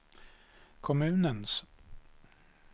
kommunens